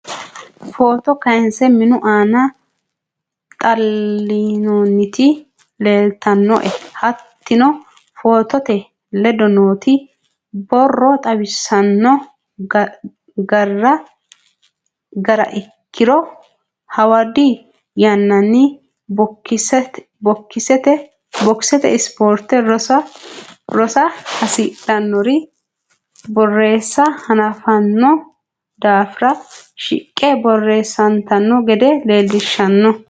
Footo kayinse Minu aana xallinoonnit leeltannoe: Hattino footote ledo nooti borro xawissanno ga'ra ikki'ro Hawadi yannanni bokisete ispoorte rosa hasidhannori borreessa hanaffino daafira Shiqqe borreessantanno gede leellishshanno: